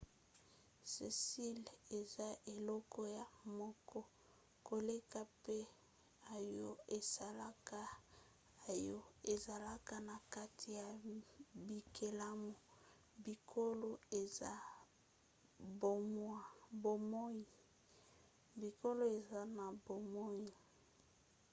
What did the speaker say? selile eza eloko ya moke koleka mpe oyo esalaka oyo ezalaka na kati ya bikelamu biloko eza na bomoi